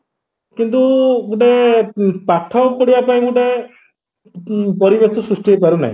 କିନ୍ତୁ ଗୋଟେ ପାଠ ପଢିବା ପାଇଁ ଗୋଟେ ପରିବେଶ ସୃଷ୍ଟି ହେଇପାରୁନାହିଁ